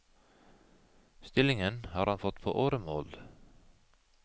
Stillingen har han fått på åremål.